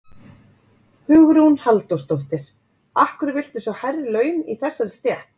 Hugrún Halldórsdóttir: Af hverju viltu sjá hærri laun í þessari stétt?